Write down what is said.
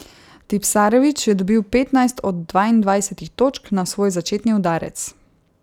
Tipsarević je dobil petnajst od dvaindvajsetih točk na svoj začetni udarec.